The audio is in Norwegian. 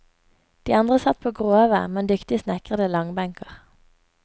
De andre satt på grove, men dyktig snekrede langbenker.